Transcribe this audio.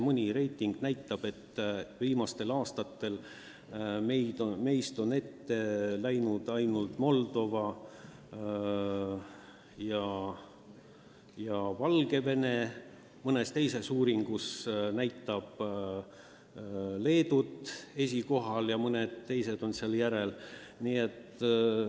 Mõni reiting näitab, et viimastel aastatel on meist ette läinud ainult Moldova ja Valgevene, mõnes teises uuringus näeme Leedut esikohal ja mõned teised on veel meist ees.